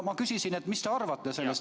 Ma küsisin, et mis te arvate.